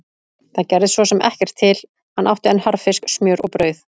Það gerði svo sem ekkert til, hann átti enn harðfisk, smjör og brauð.